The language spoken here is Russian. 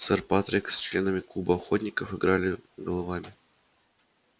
сэр патрик с членами клуба охотников играли головами